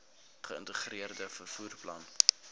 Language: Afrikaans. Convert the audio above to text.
geïntegreerde vervoer plan